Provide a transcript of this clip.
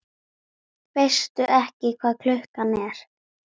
Veistu ekki hvað klukkan er?